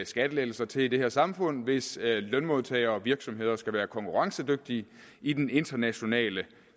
skattelettelser til i det her samfund hvis lønmodtagere og virksomheder skal være konkurrencedygtige i den internationale